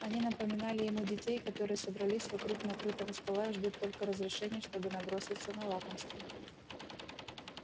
они напоминали ему детей которые собрались вокруг накрытого стола и ждут только разрешения чтобы наброситься на лакомство